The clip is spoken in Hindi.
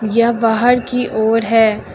यह बाहर की ओर है।